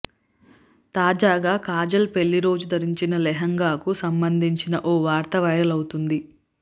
తాజాగా కాజల్ పెళ్లి రోజు ధరించిన లెహెంగాకు సంబంధించిన ఓ వార్త వైరల్ అవుతుంది